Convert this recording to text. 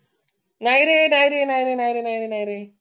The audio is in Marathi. नाही रे नाही रे नाही रे नाही रे नाही रे नाही रे